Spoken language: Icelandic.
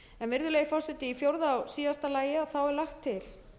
virðulegi forseti í fjórða og síðasta lagi er lagt til